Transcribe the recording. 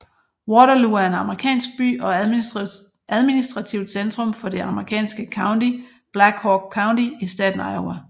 Waterloo er en amerikansk by og administrativt centrum for det amerikanske county Black Hawk County i staten Iowa